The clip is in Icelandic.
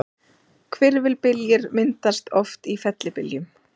Hvirfilbyljir myndast oft í fellibyljum.